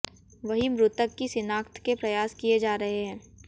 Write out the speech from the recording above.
वहीं मृतक की शिनाख्त के प्रयास किए जा रहे हैं